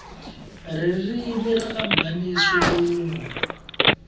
ririmi rakamhani ishilungu